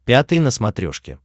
пятый на смотрешке